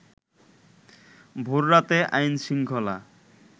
ভোররাতে আইন শৃঙ্খলা